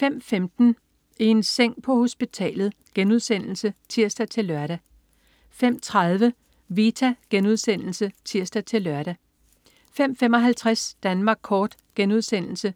05.15 I en seng på hospitalet* (tirs-lør) 05.30 Vita* (tirs-lør) 05.55 Danmark Kort* (tirs-lør)